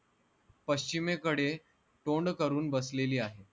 पश्चिमेकडे तोंड करून बसलेली आहे